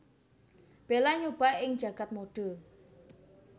Bella nyoba ing jagad modé